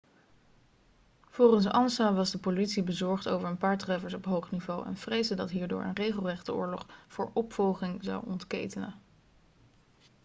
volgens ansa was de politie bezorgd over een paar treffers op hoog niveau en vreesde dat hierdoor een regelrechte oorlog voor opvolging zou ontketenen